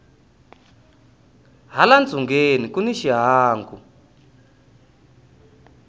hala ntsungeni kuni xihangu